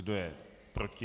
Kdo je proti?